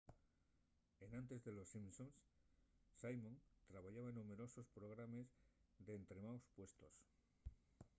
enantes d'en los simpson simon trabayara en numberosos programes n'estremaos puestos